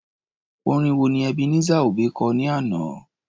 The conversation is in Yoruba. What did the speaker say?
Orin wo ni Ebenezer Obey kọ ní àná?